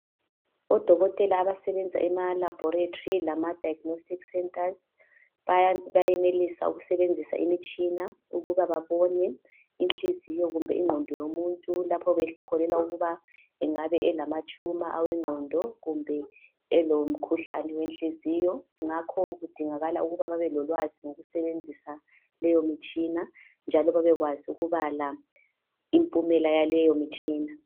odokotela abasebenza ema laboratory lasema diagnostic centres bayenelisa ukusebenzisa imitshina ukuba babone inhliziyo kumbe inqondo yomuntu lapho bekholelwa ukuba engaba elama tuma eqondo kumbe elomkhuhlane wenhliziyo ngakho kudingakala ukuba babelolwazi ngokusebenzisa leyo mitshina njalo babekwazi ukubala impumela yaleyo mitshina